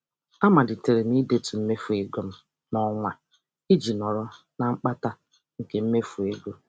A malitere m ị detu mmefu ego m n'ọnwa a iji nọrọ na mkpata nke mmefu ego.